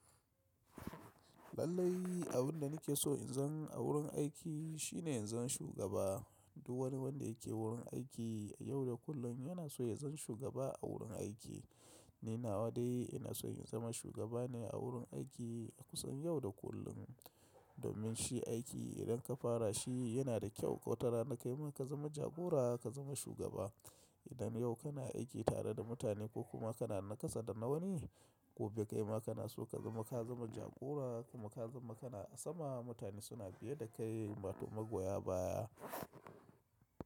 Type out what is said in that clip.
Lallai abin da nake so in zan a wurin aiki shine in zama shugaba. Duk wani wanda yake wurin aiki yau da kullum yana so ya zama shugaba a wurin aiki. Ni nawa dai ina so in zama shugaba ne a wurin aiki kusan yau da kullum. Domin shi aiki idan ka fara shi yana da kyau, wata rana kai ma ka zama jagora ka zama shugaba. Idan yau kuna aiki tare da mutane ko kuma kana na ƙasa da na wani, gobe kai ma kana so ka zama ka zama jagora kuma ka zama kana a sama. Mutane suna fiye da kai wato magoya baya.